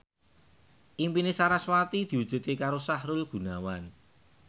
impine sarasvati diwujudke karo Sahrul Gunawan